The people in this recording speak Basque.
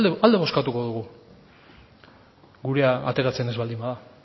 alde bozkatuko dugu gurea ateratzen ez baldin bada